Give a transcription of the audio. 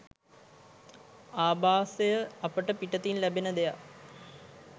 ආභාසය අපට පිටතින් ලැබෙන දෙයක්